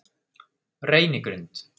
Reynigrund